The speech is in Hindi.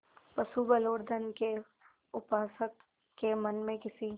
पशुबल और धन के उपासक के मन में किसी